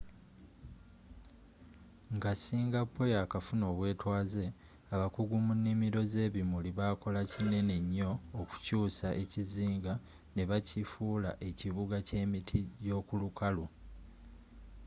nga singapore yakafuna obwetwaze abakugu mu nimiro z'ebimuli bakola kinene nyo okukyusa ekizinga nebakifula ekibuga ekyemiti gyokulukalu